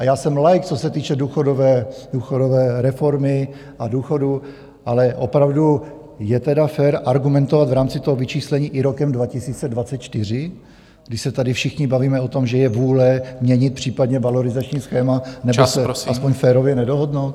A já jsem laik, co se týče důchodové reformy a důchodu, ale opravdu je tedy fér argumentovat v rámci toho vyčíslení i rokem 2024, když se tady všichni bavíme o tom, že je vůle měnit případně valorizační schéma nebo se aspoň férově nedohodnout?